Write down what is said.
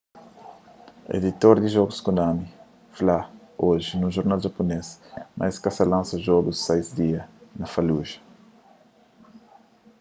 editor di jogus konami fla oji nun jornal japunês ma es ka ta lansa jogu sais dia na fallujah